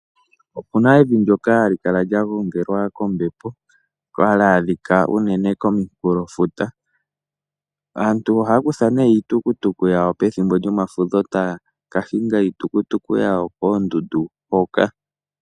Opuna evi ndyoka hali kala lya gongelwa kombepo hali adhika unene komikulo futa. Aantu ohaya kutha iitukutuku yawo pethimbo lyomafudho taya ka hinga iitukutuku yawo koondundu hoka.